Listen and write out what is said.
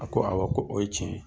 A ko awɔ ko o ye tiɲɛ ye.